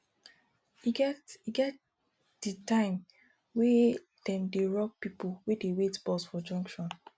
e get e get di time wey dem dey rob pipo wey dey wait bus for junction